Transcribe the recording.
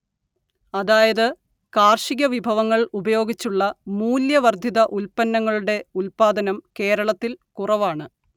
അതായത് കാർഷികവിഭവങ്ങൾ ഉപയോഗിച്ചുള്ള മൂല്യവർദ്ധിത ഉൽപ്പന്നങ്ങളുടെ ഉല്പാദനം കേരളത്തിൽ കുറവാണ്